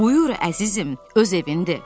Buyur əzizim, öz evindir.